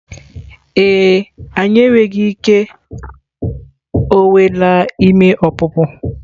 E e, anyị enweghị ike, o nweela ime ọpụpụ.